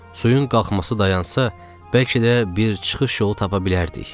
Suyun qalxması dayansa, bəlkə də bir çıxış yolu tapa bilərdik.